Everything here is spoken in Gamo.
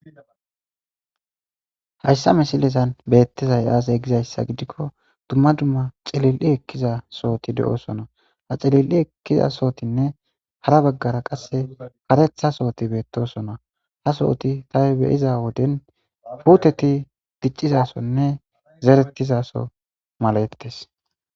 Hayssa mesilezan beettizay aasey gizayssa gidikko dumma dumma cililli ekkiza sooti de'osona ha celil'i ekkiza sootinne hara baggara qasse karetha sooti beettosona ha sooti tahe beyiza woden puteti diccizasonne zeretizaso malaettes.